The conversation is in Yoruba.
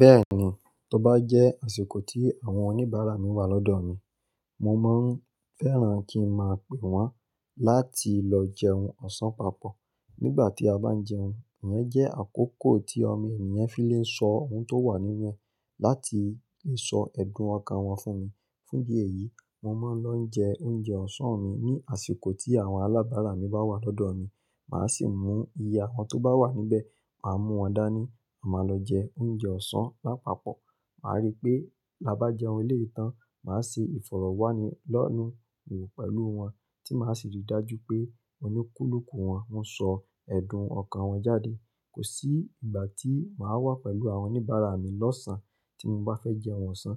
Bẹ́ẹ̀ni, tó bá jẹ́ àsìkò tí àwọn oníbàárà mi wà lọ́dọ̀ mi, mo máa ń fẹ́ran kí n máa pè wọ́n láti lọ jẹun ọ̀sán papọ̀. Nígbà tí a bá ń jẹun, ìyẹn jẹ́ àkókò tí ọmọ enìyàn fi lè ń sọ ohun tó wà nínú ẹ̀ láti lè sọ ẹ̀dùn ọkàn wọn fún mi. Fún ìdí èyí, mo máa ń lọ jẹ oúnjẹ ọ̀sán mi ní àsìkò tí àwọn alábàárà mi bá wà lọ́dọ̀ mi. Màá sì mú ìye awọn tó bá wà níbẹ̀, màá mú wọn dání, a máa lọ jẹ oúnjẹ ọ̀sán lápapọ̀. Màá rí pé, bi á bá jẹun eleyi tàn, màá ṣe ìfọ̀rọ̀wánilẹ́nuwò pẹ̀lú wọn tí màá sì rí i dájú pé olúkúlùkù wọn ń sọ ẹ̀dùn ọkàn wọn jáde. Kò sí ìgbà tí màá wà pẹ̀lú àwọn oníbàárà mi lọ́sàn tí mo bá fẹ́ jẹun ọ̀sán.